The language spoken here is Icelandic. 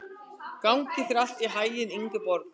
Gangi þér allt í haginn, Ingeborg.